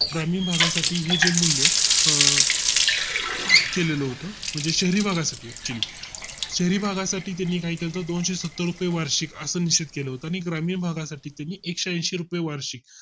ग्रामीण भागा साठी हे जे मूल्य अह केलेले होतो म्हणजे शहरी भागा साठी Actually शहरीभागा साठी त्यानी काय केलत दोनशे सत्तर रुपये वार्षिक असा निश्चित केला होता आणि ग्रामीण भागा साठी त्यांनी एकशेऐंशी रुपये वार्षिक